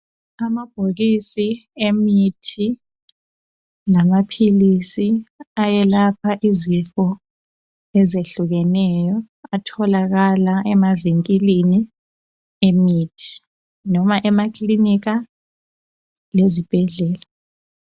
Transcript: Amabhokisi emithi lamaphilisi ayelapha izifo ezehlukeneyo atholakala emavinkilini emithi loba emakiliniki lezibhedlela.